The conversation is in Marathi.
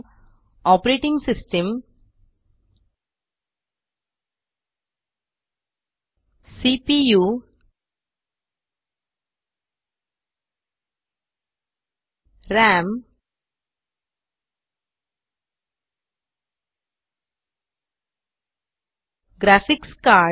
blender guru com the ultimate guide to buying a computer for blender वरील लेख पाहण्याची एक चांगली कल्पना आहे